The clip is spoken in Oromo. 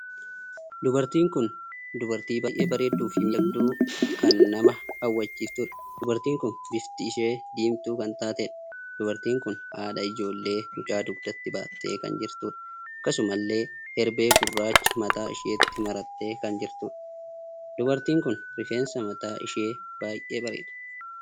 Dubartiin kun dubartii baay'ee bareedduu fi miidhagduu kan nama hawwisiiftuudha. Dubartiin kun bifti ishee diimtuu kan taateedha. Dubartiin kun haadha ijoollee mucaa dugdatti baattee kan jirtuudha. Akkasumallee herbee gurraacha mataa isheetti marattee kan jirtuudha. Dubartiin kun rifeensi mataa ishee baay'ee dheeraadha.